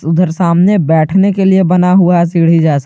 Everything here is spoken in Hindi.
उधर सामने बैठने के लिए बना हुआ है सीढ़ी जैसा।